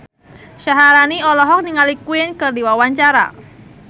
Syaharani olohok ningali Queen keur diwawancara